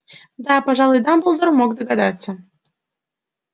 да пожалуй дамблдор мог догадаться